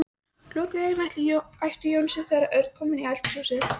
Lokaðu augunum æpti Jónsi þegar Örn kom inn í eldhúsið.